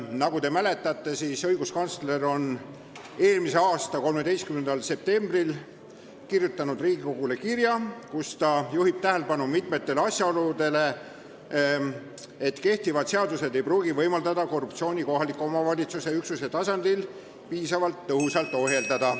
Nagu te mäletate, saatis õiguskantsler eelmise aasta 13. septembril Riigikogule kirja, kus ta juhtis tähelepanu mitmele asjaolule, et kehtivad seadused ei pruugi võimaldada korruptsiooni kohaliku omavalitsuse üksuse tasandil piisavalt tõhusalt ohjeldada.